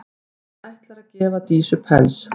Hann ætlar að gefa Dísu pels.